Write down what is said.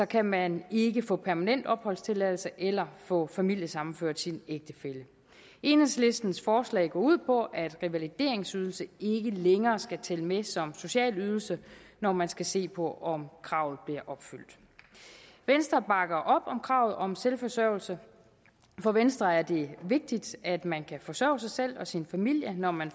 kan man ikke få permanent opholdstilladelse eller få familiesammenført sin ægtefælle enhedslistens forslag går ud på at revalideringsydelse ikke længere skal tælle med som socialydelse når man skal se på om kravet bliver opfyldt venstre bakker op om kravet om selvforsørgelse for venstre er det vigtigt at man kan forsørge sig selv og sin familie når man